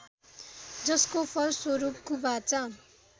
जसको फलस्वरूप कुबाचा